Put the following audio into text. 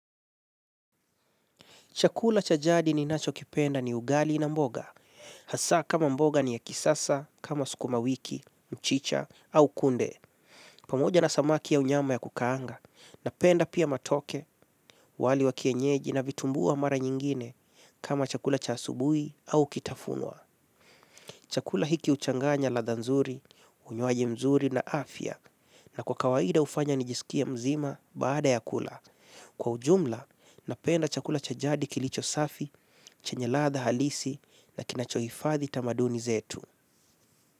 Chakula cha jadi ninachokipenda ni ugali na mboga. Hasa kama mboga ni ya kisasa, kama sukuma wiki, mchicha, au kunde. Pamoja na samaki au nyama ya kukaanga. Napenda pia matoke, wali wa kienyeji na vitumbua mara nyingine kama chakula cha asubuhi au kitafunwa. Chakula hiki huchanganya ladha nzuri, unywaji mzuri na afya. Na kwa kawaida hufanya nijisikie mzima baada ya kula. Kwa ujumla, napenda chakula cha jadi kilicho safi, chenye ladha halisi na kinachohifadhi tamaduni zetu.